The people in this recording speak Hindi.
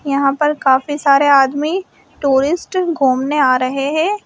यहां पर काफी सारे आदमी टूरिस्ट घूमने आ रहे हैं।